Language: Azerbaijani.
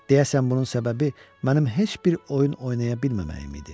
Deyəsən bunun səbəbi mənim heç bir oyun oynaya bilməməyim idi.